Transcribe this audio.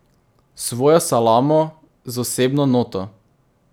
Svojo salamo, z osebno noto.